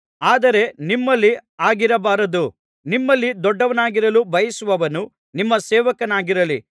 ಆದರೆ ನಿಮ್ಮಲ್ಲಿ ಹಾಗಿರಬಾರದು ನಿಮ್ಮಲ್ಲಿ ದೊಡ್ಡವನಾಗಿರಲು ಬಯಸುವವನು ನಿಮ್ಮ ಸೇವಕನಾಗಿರಲಿ